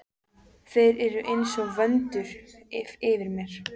Þeir eru einsog vöndur yfir mér.